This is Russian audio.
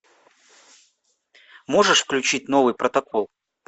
можешь включить новый протокол